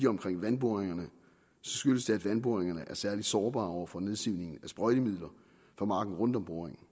omkring vandboringerne skyldes det at vandboringerne er særlig sårbare over for nedsivning af sprøjtemidler fra marken rundt om boringen